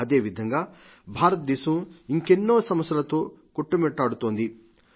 అదేవిఘంగా భారతదేశం ఇంకెన్నో సమస్యలతో కొట్టుమిట్టాడుతోంది